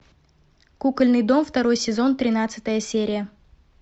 кукольный дом второй сезон тринадцатая серия